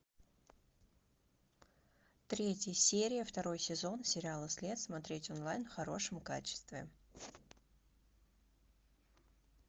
третья серия второй сезон сериала след смотреть онлайн в хорошем качестве